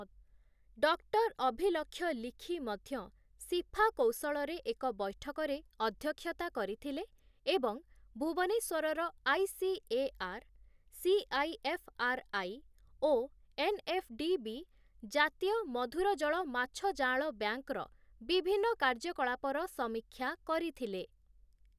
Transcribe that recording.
Doctor Abhilakshya Likhi ମଧ୍ୟ CIFA କୌଶଳରେ ଏକ ବୈଠକରେ ଅଧ୍ୟକ୍ଷତା କରିଥିଲେ ଏବଂ ଭୁବନେଶ୍ୱରର ଆଇ.ସି.ଏ.ଆର୍‌., ସି.ଆଇ.ଏଫ୍‌.ଆର୍‌.ଆଇ., ଓ ଏନ୍‌.ଏଫ୍‌.ଡି.ବି. ଜାତୀୟ ମଧୁର ଜଳ ମାଛ ଜାଆଁଳ ବ୍ୟାଙ୍କ୍‌ର ବିଭିନ୍ନ କାର୍ଯ୍ୟକଳାପର ସମୀକ୍ଷା କରିଥିଲେ ।